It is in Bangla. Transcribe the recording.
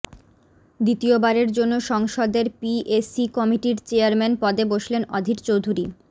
দ্বিতীয়বারের জন্য সংসদের পিএসি কমিটির চেয়ারম্যান পদে বসলেন অধীর চৌধুরী